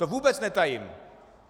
To vůbec netajím.